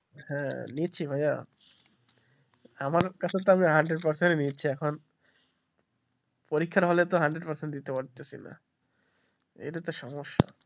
হ্যাঁ নিচ্ছি ভাইয়া আমার আমি hundred percent দিচ্ছি এখন পরীক্ষা হলে তো hundred percent দিতে পারছি না এটাই তো সমস্যা,